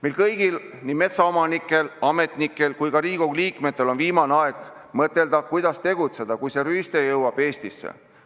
Meil kõigil – nii metsaomanikel, ametnikel kui ka Riigikogu liikmetel – on viimane aeg mõtelda, kuidas tegutseda, kui see rüüste jõuab Eestisse.